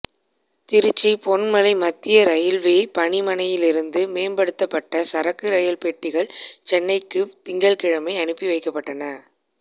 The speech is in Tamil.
திருச்சி பொன்மலை மத்திய ரயில்வே பணிமனையிலிருந்து மேம்படுத்தப்பட்ட சரக்கு ரயில் பெட்டிகள் சென்னைக்கு திங்கள்கிழமை அனுப்பி வைக்கப்பட்டன